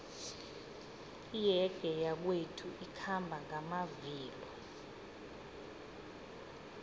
iyege yakwethu ikhamba ngamavilo